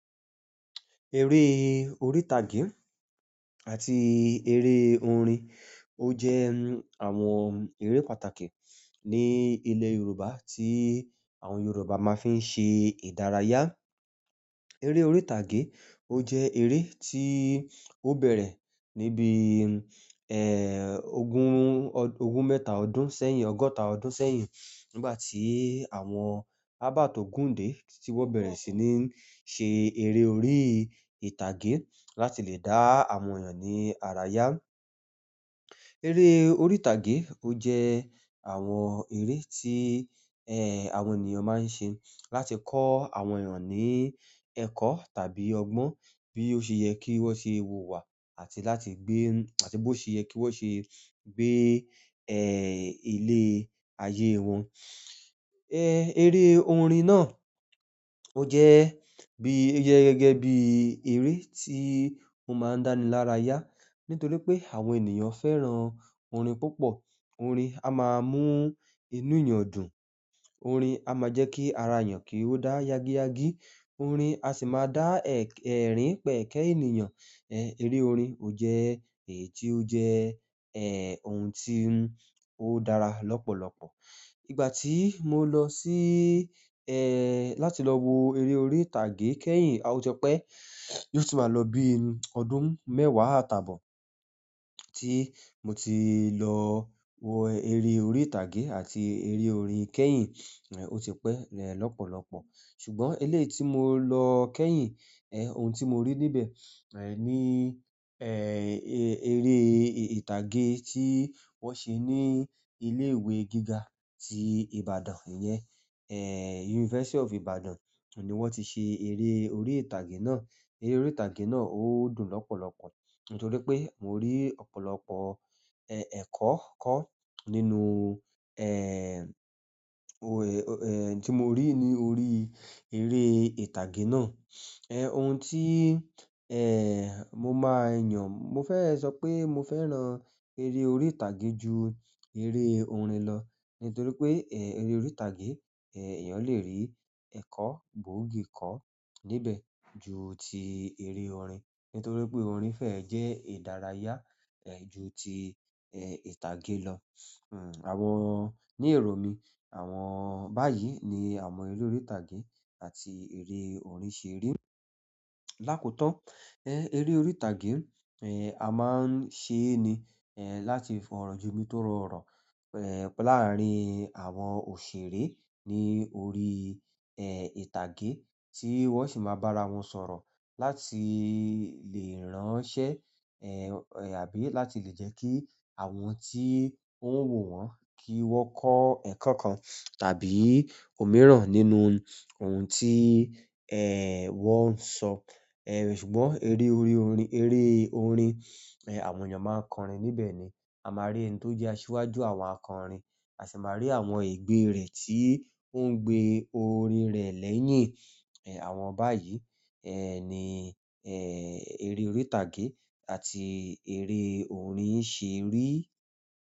Eré orí ìtàgé àti eré orin ó jẹ́ àwọn eré pàtàkì ní ilẹ̀ Yorùbá tí àwọn Yorùbá máa fi ń ṣe ìdárayá. Èrè orí tage o jẹ eléyìí ti o bẹrẹ níbí ẹ́, ogún, ogún mẹ́ta ọdún sẹ́yìn, ọgọ́ta ọdún sẹ́yìn nígbà tí àwọn Abert Ogùndé tí wọ́n bẹ̀rẹ̀ sí ní ṣe eré orí ìtàgé láti lè dá àwọn èèyàn ní ara yá. Eré orí ìtàgé ó jẹ́ àwọn eré tí, ẹ́, àwọn ènìyàn máa ń ṣe láti kọ́ àwọn èèyàn ní ẹ̀kọ́ tàbí ọgbọ́n bí ó ṣe yẹ kí wọ́n ṣe wùwà àti láti gbé-- àti bó ṣe yẹ kí wọ́n ṣe gbé, ẹ́, ilé ayé wọn. Eré orin náà ó jẹ́ bí-- ó jẹ́ gẹ́gẹ́ bí eré tí ó máa ń dáni lára yá nítorí pé àwọn ènìyàn fẹ́ràn orin púpọ̀. Orin á máa mú inú ènìyàn dùn. Orin á máa jẹ́ kí ara èèyàn kí ó dá yagi yagi. Orin a sì máa dá ẹ̀-ẹ̀rín pẹ̀kẹ́ ènìyàn. Eré orin ó jẹ́ èyí tí ó jẹ́, ẹ́, ohun tí ó dára lọ́pọ̀lọpọ̀. Nígbà tí mo lọ sí, ẹ́, láti lọ wo eré orí ìtàgé kẹ́yìn, a ò ti pẹ̀ yóò tì máa lọ bí ọdún mẹ́wàá àtàbọ̀ tí mo ti lọ wo eré orí ìtàgé àti eré orin kẹ́yìn, ẹ́, ó ti pẹ́ lọ́pọ̀lọpọ̀. Ṣùgbọ́n eléyìí tí mo lọ kẹ́yìn, ẹ́, ohun tí mo rí níbẹ̀, ẹ́, ní, ẹ́, eré ìtàgé tí wọ́n ṣe ní ilé ìwé gíga tí Ibadan yẹn. University of Ibadan ni wọ́n ti ṣe eré orí ìtàgé náà. Èrè orí ìtàgé náà o dùn lọpọlọpọ nítorí pé mo rí ọ̀pọ̀lọpọ̀ ẹkọ kọ nínú ẹẹ, ti mó rí ni orí ìtàgé náà ẹ́, ohun tí, ẹ́, mo máa yàn, mo fẹ́ sọ pé mo fẹ́ràn eré orí ìtàgé ju eré orin lọ nítorí pé, ẹ́, eré orí ìtàgé, ẹ́, èèyàn lè rí ẹ̀kọ́ gbóògì kọ́ níbẹ̀ ju ti eré orin. Nítorípé orin fẹẹ jẹ ìdárayá ju ti ìtàgé lọ ni érò mí àwọn báyìí ni àwọn eré orí tàgé àti eré orin ṣe rí. Lákotán, ẹ́, eré orí ìtàgé, ẹ́, a máa ń ṣe é ni, ẹ́, láti fọrọ jomi tóro ọ̀rọ̀, ẹ́, láàárín àwọn òṣèré ní orí, ẹ́, ìtàgé tí wọ́n sì máa bá ara wọn sọ̀rọ̀ láti lè ránṣẹ́, ẹ́, àbí láti lè jẹ́ kí àwọn tí ó ń wò wọ́n kí wọ́n kọ́ ẹ̀kọ́ kan tàbí òmíràn nínú ohun tí, ẹ́, wọ́n ń sọ. Ẹ̀, ṣùgbọ́n eré orí orin, eré orin, ẹ́, àwọn èèyàn máa ń kọrin níbẹ̀ ni. A máa rí ẹni tó jẹ́ aṣiwájú àwọn akọ̀rin, a sì máa rí àwọn egbé rẹ̀ tí ó ń gbé orin rẹ̀ lẹ́yìn. Ẹ̀, àwọn báyìí, ẹ́, ni, ẹ́, eré orí ìtàgé àti eré orin ṣe rí.